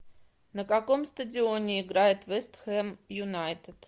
на каком стадионе играет вест хэм юнайтед